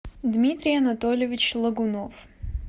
дмитрий анатольевич логунов